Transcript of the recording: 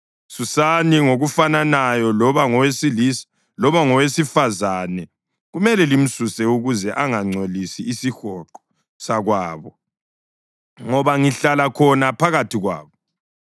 Susani ngokufananayo loba ngowesilisa loba ngowesifazane; kumele limsuse ukuze angangcolisi isihonqo sakwabo; ngoba ngihlala khona phakathi kwabo.”